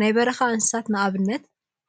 ናይ በረካ እንስሳት ንአብነት